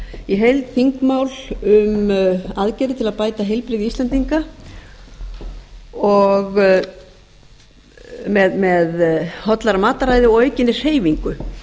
í heild þingmál um aðgerðir til að bæta heilbrigði íslendinga með hollara mataræði og aukinni hreyfingu